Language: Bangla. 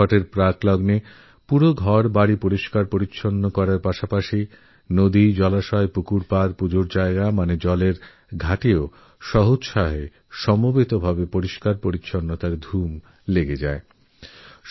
ছটের আগে গোটাবাড়ির সাফাই সঙ্গে নদী পুকুর খানাখন্দের আশপাশ পূজাস্থল অর্থাৎ ঘাটেরও সাফাইপ্রচুর উৎসাহের সঙ্গে সব লোক একজোট হয়ে করে